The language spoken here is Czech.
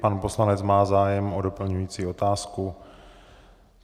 Pan poslanec má zájem o doplňující otázku?